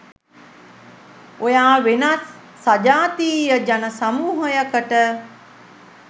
ඔයා වෙනත් සජාතීය ජන සමූහයකට